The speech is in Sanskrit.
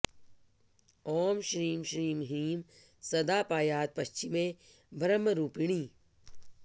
ॐ श्रीं श्रीं ह्रीं सदा पायात् पश्चिमे ब्रह्मरूपिणी